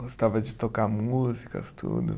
Gostava de tocar músicas, tudo.